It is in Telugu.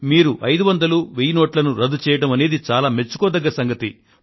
మీరు 500 1000 రూపాయల నోట్లను రద్దు చేయడం అనేది చాలా మెచ్చుకోదగ్గ సంగతి